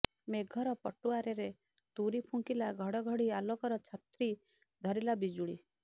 ମେଘର ପଟୁଆରରେ ତୁରୀ ଫୁଙ୍କିଲା ଘଡ଼ଘଡ଼ି ଆଲୋକର ଛତ୍ରୀ ଧରିଲା ବିଜୁଳୀ